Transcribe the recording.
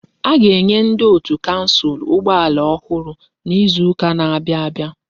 A ga-enye ndi otu kansụl ụgbọ ala ọhụrụ n'izuka n'abia abịa.